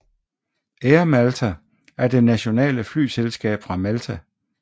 Air Malta er det nationale flyselskab fra Malta